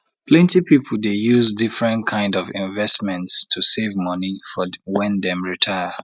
plenty people dey use different kind of investments to save money for when dem retire